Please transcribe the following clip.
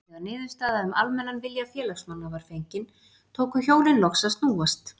Þegar niðurstaða um almennan vilja félagsmanna var fengin, tóku hjólin loks að snúast.